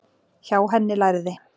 Hjá henni lærði